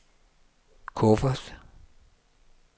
kuffert